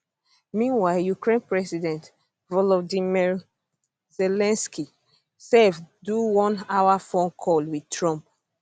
meanwhile ukraine president volodymyr zelensky sef do one hour phone call wit trump